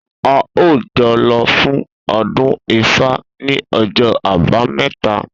A óò jo̩ lo̩ fún o̩dún Ifá ní o̩jó̩ Àbámé̩ta!